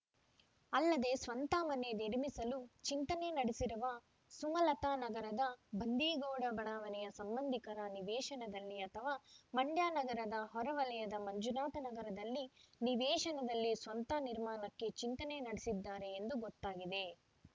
ಅಲ್ಲದೇ ಸ್ವಂತ ಮನೆ ನಿರ್ಮಿಸಲು ಚಿಂತನೆ ನಡೆಸಿರುವ ಸುಮಲತಾ ನಗರದ ಬಂದೀಗೌಡ ಬಡಾವಣೆಯ ಸಂಬಂಧಿಕರ ನಿವೇಶನದಲ್ಲಿ ಅಥವಾ ಮಂಡ್ಯ ನಗರದ ಹೊರವಲಯದ ಮಂಜುನಾಥ ನಗರದಲ್ಲಿ ನಿವೇಶನದಲ್ಲಿ ಸ್ವಂತ ನಿರ್ಮಾಣಕ್ಕೆ ಚಿಂತನೆ ನಡೆಸಿದ್ದಾರೆ ಎಂದು ಗೊತ್ತಾಗಿದೆ